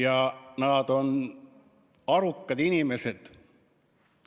Ja nad on arukad inimesed.